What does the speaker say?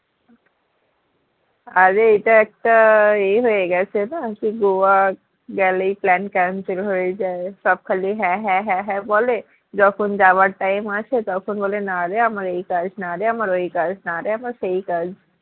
অরে এটা একটা এ হয়ে গেছে না কি গোয়া গেলেই plan cancel হয়ে যায় সব খালি হ্যাঁ হ্যাঁ হ্যাঁ হ্যাঁ বলে যখন যাওয়ার time আসে তখন বলে না রে আমার এই কাজ না রে আমার ওই কাজ না রে আমার সেই কাজ